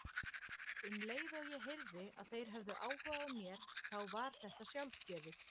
Um leið og ég heyrði að þeir hefðu áhuga á mér þá var þetta sjálfgefið.